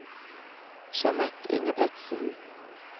Jeanette Ingebretsen